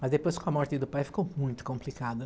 Mas depois, com a morte do pai, ficou muito complicado,